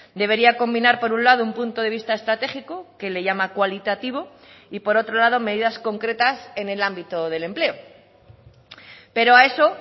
debería combinar por un lado un punto de vista estratégico que le llama cualitativo y por otro lado medidas concretas en el ámbito del empleo pero a eso